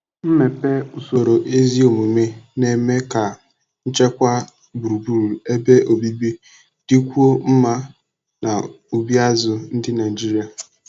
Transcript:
mmepe Usoro ezi omume na-eme ka nchekwa gburugburu ebe obibi dịkwuo mma na ubi azụ ndi Naijiria.